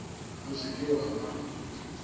o se ke wa ba